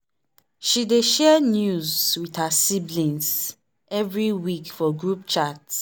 she dey share news with her siblings every week for group chat.